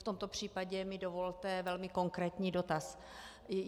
V tomto případě mi dovolte velmi konkrétní dotaz.